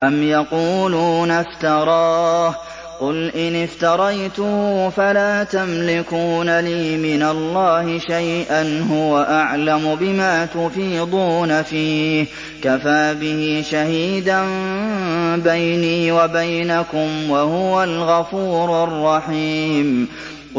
أَمْ يَقُولُونَ افْتَرَاهُ ۖ قُلْ إِنِ افْتَرَيْتُهُ فَلَا تَمْلِكُونَ لِي مِنَ اللَّهِ شَيْئًا ۖ هُوَ أَعْلَمُ بِمَا تُفِيضُونَ فِيهِ ۖ كَفَىٰ بِهِ شَهِيدًا بَيْنِي وَبَيْنَكُمْ ۖ وَهُوَ الْغَفُورُ الرَّحِيمُ